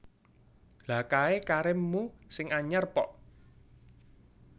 Lha kae kharim mu sing anyar pok